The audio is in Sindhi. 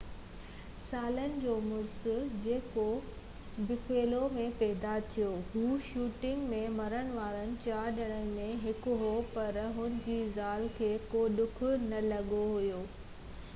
30 سالن جو مڙس جيڪو بفيلو ۾ پيدا ٿيو هو شوٽنگ ۾ مرڻ وارن 4 ڄڻن ۾ هڪ هو پر هن جي زال کي ڪو ڌڪ نہ لڳو هو